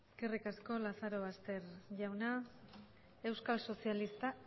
eskerrik asko lazarobaster jauna euskal sozialistak